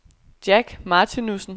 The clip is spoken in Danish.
Jack Martinussen